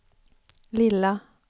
lilla